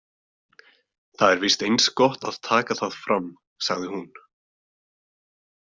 Það er víst eins gott að taka það fram, sagði hún.